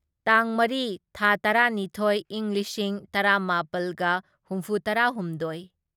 ꯇꯥꯡ ꯃꯔꯤ ꯊꯥ ꯇꯔꯥꯅꯤꯊꯣꯢ ꯢꯪ ꯂꯤꯁꯤꯡ ꯇꯔꯥꯃꯥꯄꯜꯒ ꯍꯨꯝꯐꯨꯇꯔꯥꯍꯨꯝꯗꯣꯢ